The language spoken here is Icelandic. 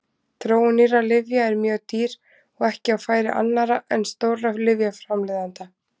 Þróun nýrra lyfja er mjög dýr og ekki á færi annarra en stórra lyfjaframleiðenda.